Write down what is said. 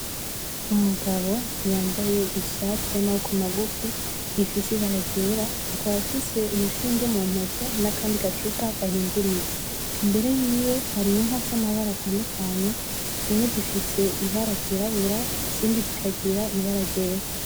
Umugabo yambaye ishati y'amaboko magufi ifise ibara ryera akaba afise urushinge mu ntoke nakandi gacupa gahinduriye, imbere yiwe hari inka zamabara atandukanye, zimwe zifise ibara ryirabura izindi zikagira ibara ryera.